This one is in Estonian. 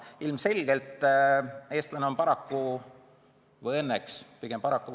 Ilmselgelt eestlane on paraku – või õnneks?